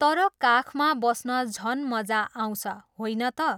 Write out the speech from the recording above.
तर काखमा बस्न झन् मजा आउँछ, होइन त?